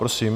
Prosím.